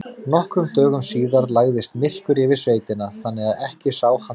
Nokkrum dögum síðar lagðist myrkur yfir sveitina þannig að ekki sá handa skil.